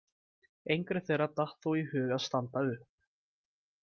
Engri þeirra datt þó í hug að standa upp.